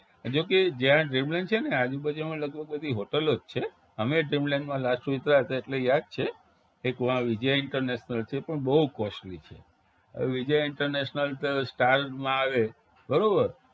જો કે જ્યાં dreamland છે ને આજુબાજુમાં લગભગ બધી hotel ઓ જ છે અમે dreamland માં last ઉતર્યા તા એટલે યાદ છે એક વા વિજય international છે પણ બવ costly છે હવે વિજય international stars માં આવે બરોબર